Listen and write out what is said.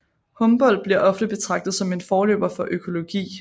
Humboldt bliver ofte betragtet som en forløber for økologi